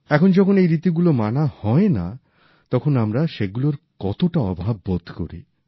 এখন যখন সেই রীতিগুলো মানা হয়না তখন আমরা সেগুলোর কতটা অভাব বোধ করি